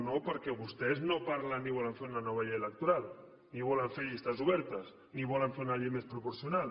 no perquè vostès no parlen ni volen fer una nova llei electoral ni volen fer llistes obertes ni volen fer una llei més proporcional